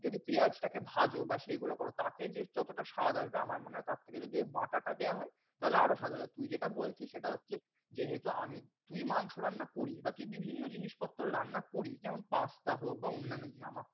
যদি পেয়াজটাকে ভাজও বা সেগুলো করো, তাতে যে যতটা স্বাদ আসবে আমার মনে হ্‌ তার থেকে যদি ওই বাটাটা দেয়া হয় তাহলে আরও স্বাদ আসবে। তুই যেটা বলছিস সেটা হচ্ছে, যেহেতু আমি তুই মাংস রান্না করি বা তুই বিভিন্ন জিনিসপত্র রান্না করি যেমন pasta হোক বা অন্যান্য জিনিস।